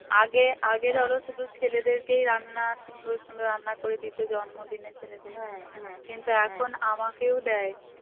আগে আগে ধরো শুধু ছেলেদেরকেই রান্না সুন্দর সুন্দর রান্না করে দিত জন্মদিনের ছেলেদের কিন্তু এখন আমাকেও দেয়